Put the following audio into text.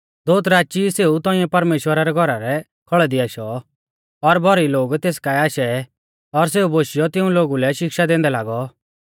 दोउत राची ई सेऊ तौंइऐ परमेश्‍वरा रै घौरा रै खौल़ै दी आशौ और भौरी लोग तेस काऐ आशै और सेऊ बोशीयौ तिऊं लै शिक्षा दैंदै लागौ